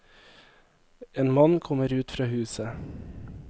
En mann kommer ut fra huset.